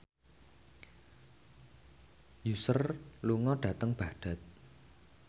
Usher lunga dhateng Baghdad